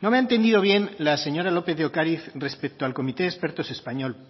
no me ha entendido bien la señora lópez de ocariz respecto al comité de expertos español